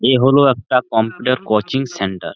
এ হলো একটা computer coaching centre.